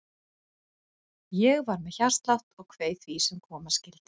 Ég var með hjartslátt og kveið því sem koma skyldi.